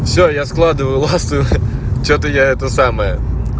всё я складываю ласты что-то я это самое